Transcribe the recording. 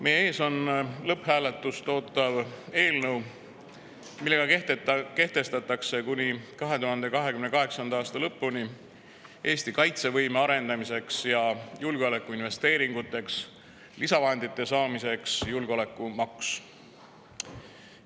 Meie ees on lõpphääletust ootav eelnõu, mille kohaselt kehtestatakse kuni 2028. aasta lõpuni julgeolekumaks, et arendada Eesti kaitsevõimet ja saada lisavahendeid julgeolekuinvesteeringuteks.